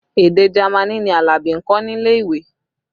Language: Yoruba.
Èdè Jamaní ni Alabi ń kọ́ nílé ìwé